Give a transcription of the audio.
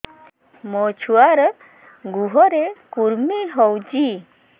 ମୋ ଛୁଆର୍ ଗୁହରେ କୁର୍ମି ହଉଚି